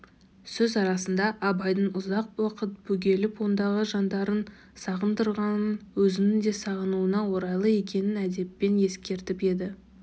сөз арасында абайдың ұзақ уақыт бөгеліп ондағы жандарын сағындырғанын өзінің де сағынуына орайлы екенін әдеппен ескертіп еді